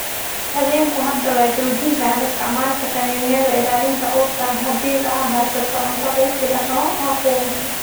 "Haweenku hadda way joojin karaan isticmaalka kaniiniyada ilaalinta uurka, haddii aad haysato cunto kugu filan oo aad ku umusho."